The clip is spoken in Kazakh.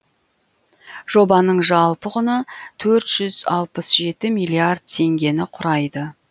жобаның жалпы құны төрт жүз алпыс жеті миллиард теңгені құрайды